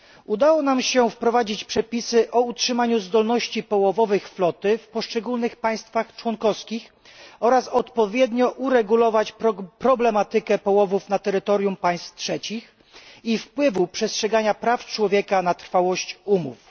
Udało nam się wprowadzić przepisy o utrzymaniu zdolności połowowych floty w poszczególnych państwach członkowskich oraz odpowiednio uregulować problematykę połowów na terytorium państw trzecich i wpływu przestrzegania praw człowieka na trwałość umów.